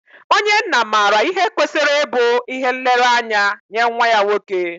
Onye nna maara ihe kwesịrị ịbụ ihe nlereanya nye nwa ya nwoke.